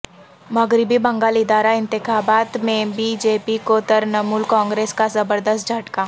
مغربی بنگال ادارہ انتخابات میں بی جے پی کو ترنمول کانگریس کا زبردست جھٹکا